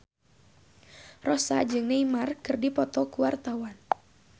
Rossa jeung Neymar keur dipoto ku wartawan